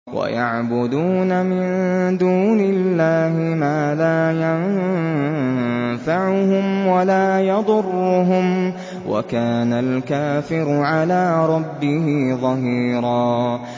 وَيَعْبُدُونَ مِن دُونِ اللَّهِ مَا لَا يَنفَعُهُمْ وَلَا يَضُرُّهُمْ ۗ وَكَانَ الْكَافِرُ عَلَىٰ رَبِّهِ ظَهِيرًا